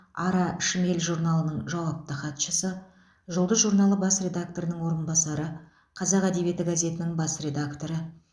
ара шмель журналының жауапты хатшысы жұлдыз журналы бас редакторының орынбасары қазақ әдебиеті газетінің бас редакторы